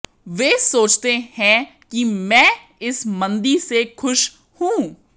वे सोचते हैं कि मैं इस मंदी से ख़ुश हूं